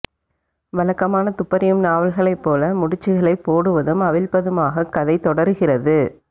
வழக்கமான துப்பறியும் நாவல்களைப் போல முடிச்சுகளைப் போடுவதும் அவிழ்ப்பதுமாகக் கதை தொடருகிறது